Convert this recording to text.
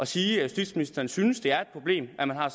sige at justitsministeren synes det er et problem at man har